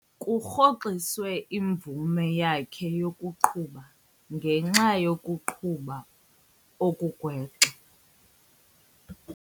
Kurhoxiswe imvume yakhe yokuqhuba ngenxa yokuqhuba okugwenxa.